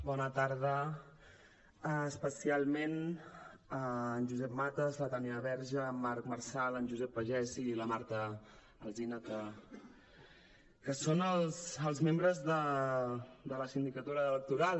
bona tarda especialment a en josep matas la tània verge en marc marsal en josep pagès i la marta alsina que són els membres de la sindicatura electoral